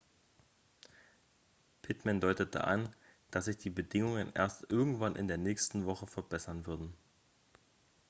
pittman deutete an dass sich die bedingungen erst irgendwann in der nächsten woche verbessern würden